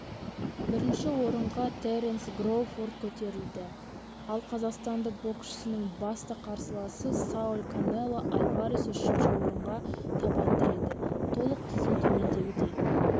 бірінші орынғатеренс кроуфорд көтерілді ал қазақстандық боксшының басты қарсыласы сауль канело альварес үшінші орынға табан тіреді толық тізім төмендегідей